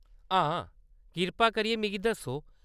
हां, कृपा करियै मिगी दस्सो।